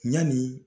Ɲani